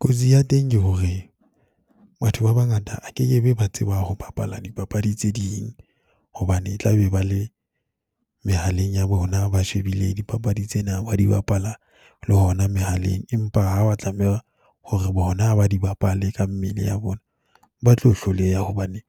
Kotsi ya teng ke hore batho ba bangata a kekebe ba tseba ho bapala dipapadi tse ding hobane tlabe ba le mehaleng ya bona, ba shebile dipapadi tsena ba di bapala le hona mehaleng. Empa ha ba tlameha hore bona ha ba di bapale ka mmele ya bona, ba tlo hloleha hobane